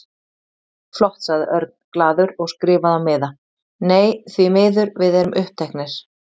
Flott sagði Örn glaður og skrifaði á miða: Nei, því miður, við erum uppteknir